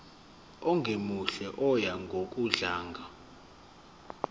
ongemuhle oya ngokudlanga